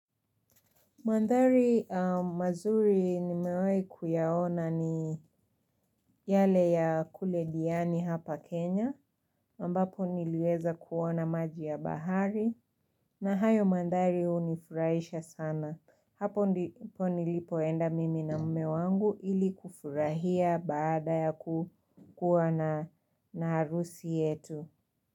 Mandhari mazuri nimewahi kuyaona ni yale ya kule diani hapa Kenya, ambapo niliweza kuona maji ya bahari, na hayo mandari hunifurahisha sana. Hapo ndipo nilipoenda mimi na mume wangu ili kufurahia baada ya kuwa na harusi yetu.